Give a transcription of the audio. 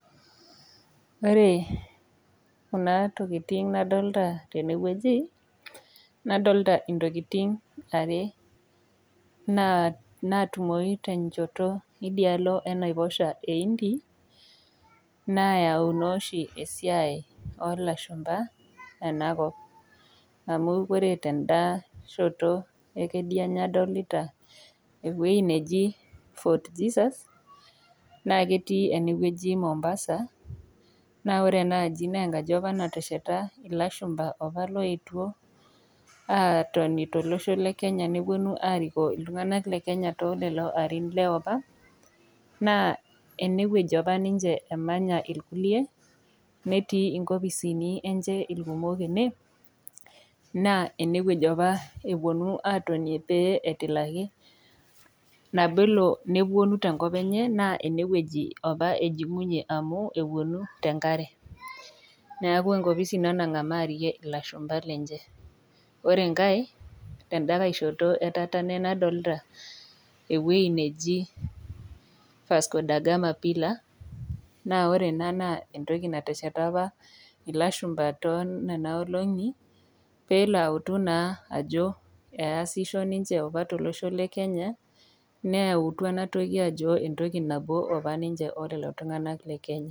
Ore kuna tokitin nadolita tenewueji nadolita ntokitin are natumoyu tenchoto indialo enaiposha eindi nayau nooshi esiai olashumba enakop. Amu ore tendashoto ekedianye adolita ewuei neji fort jesus naa ketii enewueji mombasa , naa ore enaaji naa enkaji apa natesheta ilashumba opa loetuo atoni tolosho lekenya ,neponu arikoo iltunganak lekenya tolelo arin leopa , naa enewuei apa emanya irkulie , netii inkopisini enche irkumok ene naa enewueji apa eponu atonie peyie etilaki nabelo teneponu tenkop enye naa enewuei apa eponu tenkare , niaku enkopisi ina nangamaa ilashumba lenche .Ore enkae tenda nkae shoto etatene nadolta ewuei neji vasco dagama pillar , naa ore ena naa entoki natesheta apa ilashumba tonena olongi pelo autu naa ajo eaisho ninche apa tolosho lekenya neatua enatoki ajo entoki nabo niche olelo tunganak lekenya.